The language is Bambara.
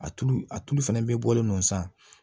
A tulu a tulu fɛnɛ bɛ bɔlen no san